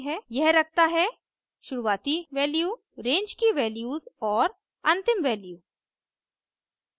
यह रखता है शुरुवाती वैल्यू रेंज की वैल्यूज़ और अंतिम वैल्यू